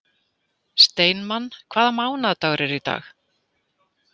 Steinmann, hvaða mánaðardagur er í dag?